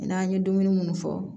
N'an ye dumuni munnu fɔ